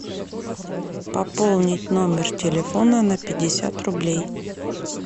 пополнить номер телефона на пятьдесят рублей